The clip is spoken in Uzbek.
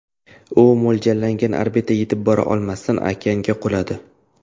U mo‘ljallangan orbitaga yetib bora olmasdan, okeanga quladi.